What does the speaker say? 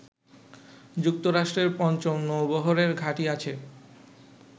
যুক্তরাষ্ট্রের পঞ্চম নৌবহরের ঘাঁটি আছে